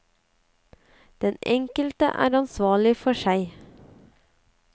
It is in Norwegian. Den enkelte er ansvarlig for seg.